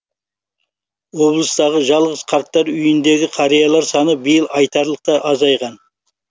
облыстағы жалғыз қарттар үйіндегі қариялар саны биыл айтарлықтай азайған